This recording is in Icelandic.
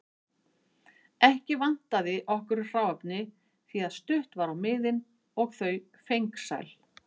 Ekki vantaði okkur hráefni því að stutt var á miðin og þau fengsæl.